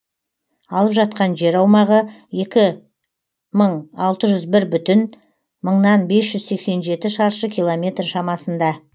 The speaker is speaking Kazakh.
алып жатқан жер аумағы екі мың алты жүз бір бүтін мыңнан бес жүз сексен жеті шаршы километр шамасында